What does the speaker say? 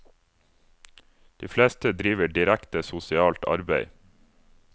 De fleste driver direkte sosialt arbeid.